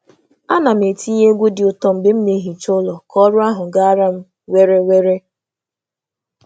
A na m etinye egwu dị ụtọ mgbe m na - ehicha ụlọ ka ọrụ ahụ gara m were were.